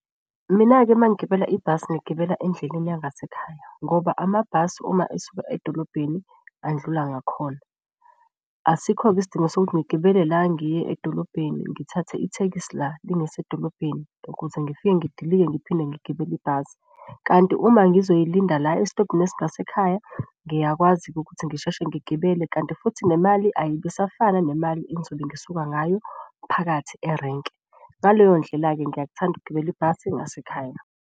Mina-ke uma ngigibela ibhasi ngiyigibela endleleni yangasekhaya ngoba amabhasi uma esuka edolobheni andlula ngakhona. Asikho-ke isidingo sokuthi ngigibele la ngiye edolobheni ngithathe ithekisi la lingise edolobheni ukuze ngifike ngidilike ngiphinde ngigibele ibhasi. kanti uma ngizoyilinda la esitobhini esingasekhaya ngiyakwazi ukuthi ngisheshe ngigibele kanti futhi nemali ayibe isafana nemali engizobe ngisuka ngayo phakathi erenke. Ngaleyo ndlela-ke, ngiyakuthanda ukugibela ibhasi ngasekhaya.